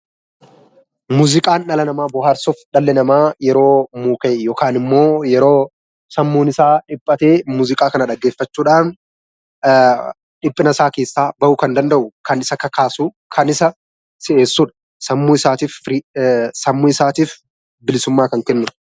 Muuziqaan dhala namaa bohaarsuuf dhalli namaa yeroo mukaa'e yookiin immoo yeroo sammuun isaa dhiphatee Muuziqaa kana dhaggeeffachuudhaan dhiphina isaa keessaa bahuu kan danda'u kan isa kakaasuuf kan isa si'eessudha. Sammuun isaatiif bilisummaa kan kennudha.